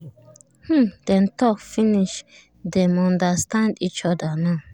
um dem talk finish dem understand each other now